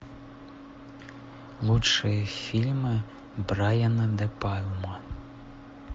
лучшие фильмы брайана де пальма